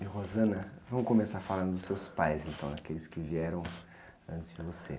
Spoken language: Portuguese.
É, vamos começar falando dos seus pais, então, né? Aqueles que vieram antes de você.